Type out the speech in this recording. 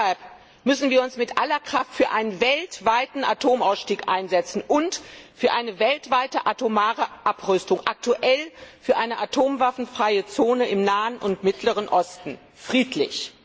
Deshalb müssen wir uns mit aller Kraft für einen weltweiten Atomausstieg und für eine weltweite atomare Abrüstung, aktuell für eine atomwaffenfreie Zone im Nahen und Mittleren Osten, einsetzen. Friedlich!